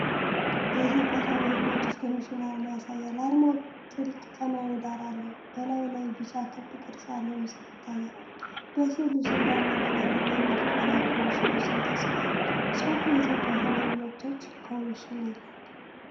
የኢትዮጵያ ሰብአዊ መብቶች ኮሚሽን አርማ ያሳያል። አርማው ጥልቅ ሰማያዊ ዳራ አለው። በላዩ ላይ ቢጫ ክብ ቅርጽ ያለው ምስል ይታያል። በሥዕሉ ስር በአማርኛና በእንግሊዝኛ የኮሚሽኑ ስም ተጽፏል። ጽሑፉ የኢትዮጵያ ሰብአዊ መብቶች ኮሚሽን ይላል።